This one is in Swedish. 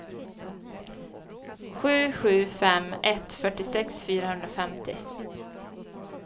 sju sju fem ett fyrtiosex fyrahundrafemtio